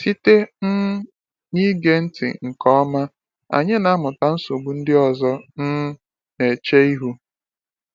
Site um n’ige ntị nke ọma, anyị na-amụta nsogbu ndị ọzọ um na-eche ihu.